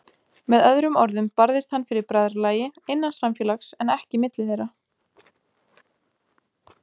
Með öðrum orðum barðist hann fyrir bræðralagi, innan samfélags, en ekki milli þeirra.